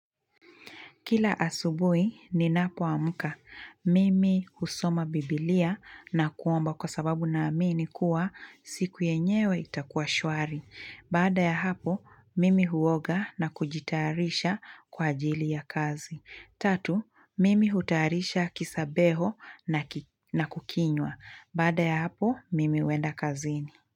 Kila asubui, ninapoamka. Mimi husoma biblia na kuomba kwa sababu naamini kuwa siku yenyewe itakuwa shwari. Bada ya hapo, mimi huoga na kujitayarisha kwa ajili ya kazi. Tatu, mimi hutayarisha kisabeho na kukinywa. Bada ya hapo, mimi huenda kazini.